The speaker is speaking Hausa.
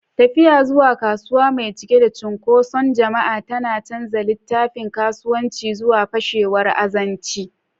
Tafiya zuwa kasuwa mai cike da cunkoson jama'a tana canza littafin kasuwanci zuwa fashewar azanci.